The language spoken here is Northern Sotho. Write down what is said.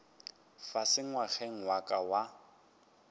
fase ngwageng wa ka wa